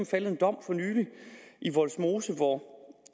faldet en dom i vollsmose hvor